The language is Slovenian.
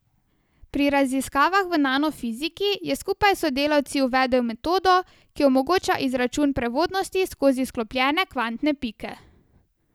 Pri raziskavah v nanofiziki je skupaj s sodelavci uvedel metodo, ki omogoča izračun prevodnosti skozi sklopljene kvantne pike.